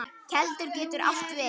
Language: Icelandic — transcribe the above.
Keldur getur átt við